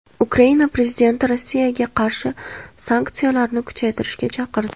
Ukraina prezidenti Rossiyaga qarshi sanksiyalarni kuchaytirishga chaqirdi.